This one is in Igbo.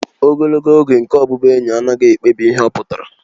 Ogologo oge nke ọbụbụenyi anaghị ekpebi ihe ọ pụtara